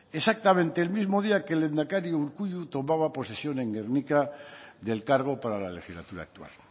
exactamente el mismo día que el lehendakari urkullu tomaba posesión en gernika del cargo para la legislatura actual